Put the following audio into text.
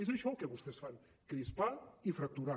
és això el que vostès fan crispar i fracturar